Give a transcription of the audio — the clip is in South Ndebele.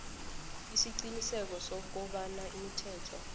isiqiniseko sokobana imithetho